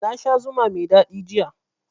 Na sha zuma mai daɗi jiya